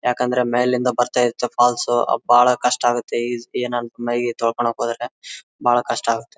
ಯಾಕಂದ್ರೆ ಮೇಲಿಂದ ಬರ್ತಾ ಇರುತ್ತೆ ಫಾಲ್ಸ್ ಸು ಬಹಳ ಕಷ್ಟ ಆಗುತ್ತೆ ಏನದು ಮೈನ ತೊಳ್ಕೊಳ್ಳಗ್ ಹೋದ್ರೆ ಬಹಳ ಕಷ್ಟ ಆಗುತ್ತೆ.